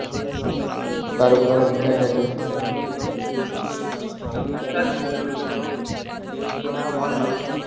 তার উপর আবার recharge আছে হ্যাঁ বল না